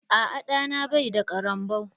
Aa ɗa na bai da ƙarambau.